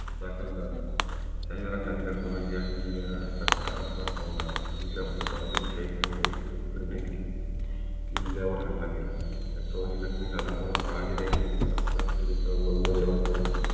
दाखल झाला त्यांचा अधिकारी सोनागिरी ह्या किल्ल्याचा काम बघू लागला विजापूर आदिलशाहीच एक देखील किल्ल्यावर हल्ला झाला त्यात जखमी झाला म्हणून बहजी जयशिंगराव आपल्या तुकडीसह ब्रम्हदेवाच्या